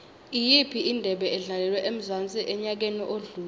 iyiphi indebe edlalelwe emzansi enyakeni odlule